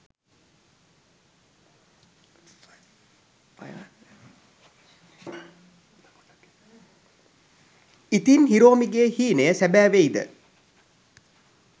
ඉතින් හිරෝමිගේ හීනය සැබෑ වෙයිද ?